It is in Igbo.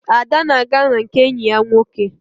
Ada na-aga na nke enyi ya nwoke